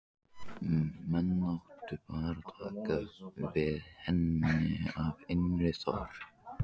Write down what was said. Menn áttu bara að taka við henni af innri þörf.